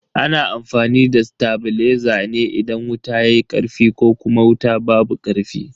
Ana amfani da tabileza ne idan wuta yayi karfi ko kuma wuta babu karfi.